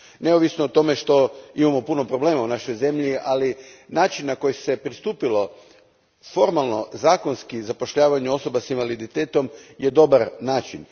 Neovisno o tome što imamo puno problema u našoj zemlji, ali način na koji se pristupilo formalno, zakonski zapošljavanju osoba s invaliditetom je dobar način.